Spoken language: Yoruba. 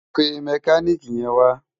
Pé mèkánikí yèn wá